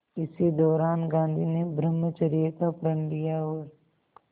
इसी दौरान गांधी ने ब्रह्मचर्य का प्रण लिया और